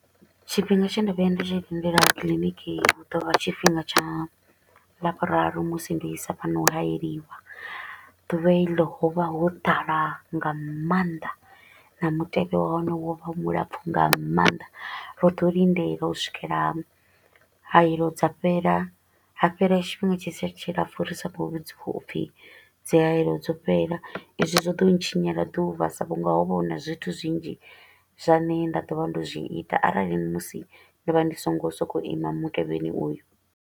Tshifhinga tshe nda vhuya nda tshi lindela clinic hu ḓo vha tshifhinga tsha Lavhuraru musi nda isa vhana u hayeliwa. Duvha heḽo ho vha ho ḓala nga maanḓa, na mutevhe wa hone wo vha wo lapfa nga maanḓa. Ro ḓo lindela u swikela hayelo dza fhela, ha fhela tshifhinga tshi sa tshilapfu ri sa kho u vhudziwa upfi dzi hayelo dzo fhela. Izwi zwo ḓo ntshinyela ḓuvha sa vhu nga ho vha huna zwithu zwinzhi zwa ne nda ḓo vha ndo zwi ita arali musi ndo vha ndi so ngo so ko u ima mutevheni uyu.